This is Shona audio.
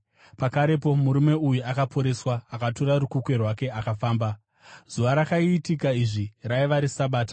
Pakarepo murume uyu akaporeswa; akatora rukukwe rwake akafamba. Zuva rakaitika izvi raiva reSabata.